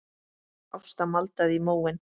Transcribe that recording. Ásta maldaði í móinn.